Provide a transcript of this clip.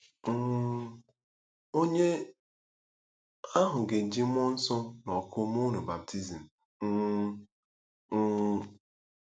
um Onye ahụ ga-eji mmụọ nsọ na ọkụ mee unu baptizim. um ” um